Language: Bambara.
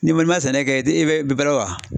N'i ma sɛnɛ kɛ, i bɛ balo wa ?